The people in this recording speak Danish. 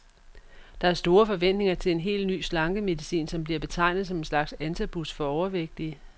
Der er store forventninger til en helt ny slankemedicin, som bliver betegnet som en slags antabus for overvægtige.